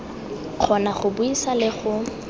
kgona go buisa le go